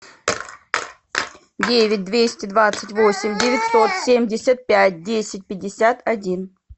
девять двести двадцать восемь девятьсот семьдесят пять десять пятьдесят один